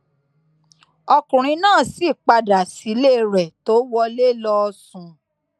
ọkùnrin náà sì padà sílé rẹ tó wọlé lọọ sùn